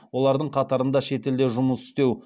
олардың қатарында шетелде жұмыс істеу